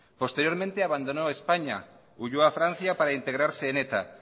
posteriormente abandonó españa huyó a francia para integrarse en eta